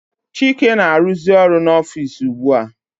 Chike na -aruzi ọrụ n'ofici ugbua.